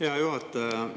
Hea juhataja!